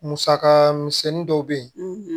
Musaka misɛnnin dɔw bɛ yen